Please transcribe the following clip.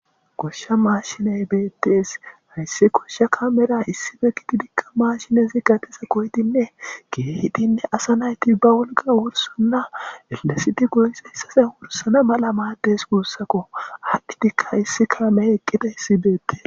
Koshsha maashiney beettees hayssi koshsha kamera issibe gidi digka maashinezi gatesa koydinne geehidinne asa nayti ba wolqa wursanna ellasiti goyse hissase wursana mala maaddes guussako addhi dikka issi kaame eqqida hissibeette.